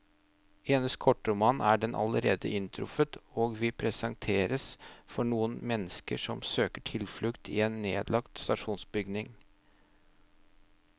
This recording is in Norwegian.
I hennes kortroman er den allerede inntruffet, og vi presenteres for noen mennesker som søker tilflukt i en nedlagt stasjonsbygning.